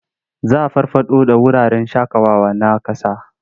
Za a farfaɗo da wuraren shaƙawawa na ƙasa.